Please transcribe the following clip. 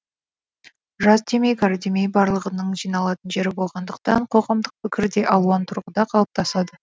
жас демей кәрі демей барлығының жиналатын жері болғандықтан қ оғамдық пікір де алуан тұрғыда қалыптасады